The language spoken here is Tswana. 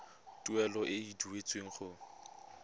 tuelo e e duetsweng go